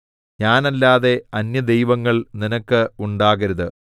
ഞാനല്ലാതെ അന്യദൈവങ്ങൾ നിനക്ക് ഉണ്ടാകരുത്